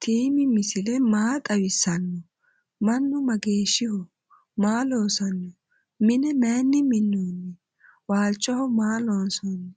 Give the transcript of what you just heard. tiimi misile maa xawisanno? manu msgeshiho? maa loosanno? mine mayinni minoni? walchoho maa loonsonni?